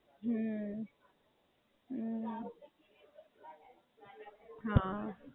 મારે પણ નવી-નવી હતી ને તો મારી પણ ટ્રેનિંગ થઈ તી સાત દિવસ ની.